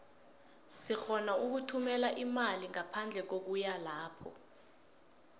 sirhona ukuthumela imali ngaphandle kokuya lapho